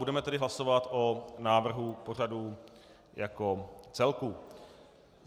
Budeme tedy hlasovat o návrhu pořadu jako celku.